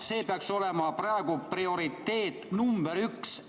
See peaks olema praegu prioriteet number üks.